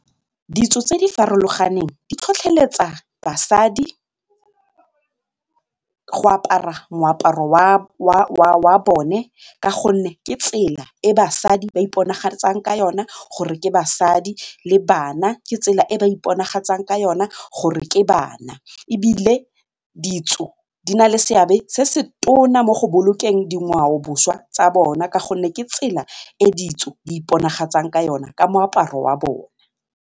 Ditso tse di farologaneng di tlhotlheletsa basadi go apara moaparo wa bone ka gonne ke tsela e basadi ba iponagatsang ka yona gore ke basadi le bana ke tsela e ba iponagatsang ka yona gore ke bana ebile ditso di na le seabe se se tona mo go bolokeng dingwaoboswa tsa bona ka gonne ke tsela e ditso di iponagatsang ka yona ka moaparo wa bone.